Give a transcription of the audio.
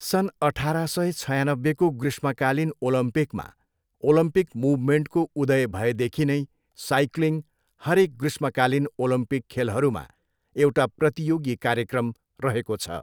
सन् अठार सय छयानब्बेको ग्रीष्मकालीन ओलम्पिकमा ओलम्पिक मुभमेन्टको उदय भएदेखि नै साइक्लिङ हरेक ग्रीष्मकालीन ओलम्पिक खेलहरूमा एउटा प्रतियोगी कार्यक्रम रहेको छ।